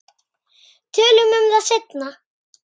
Tölum um það seinna.